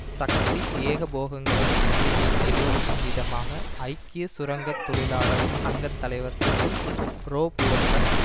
சக்தி ஏகபோகங்களின் நிலையை எதிரொலிக்கும் விதமாக ஐக்கிய சுரங்க தொழிலாளர் சங்க தலைவர் செசில் றொபோர்ட்ரஸ்